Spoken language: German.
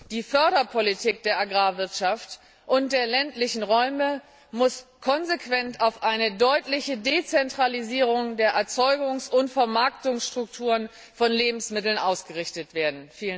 Die Politik zur Förderung der Agrarwirtschaft und der ländlichen Räume muss konsequent auf eine deutliche Dezentralisierung der Erzeugungs und Vermarktungsstrukturen von Lebensmitteln ausgerichtet werden.